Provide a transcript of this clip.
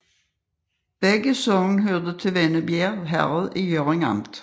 Begge sogne hørte til Vennebjerg Herred i Hjørring Amt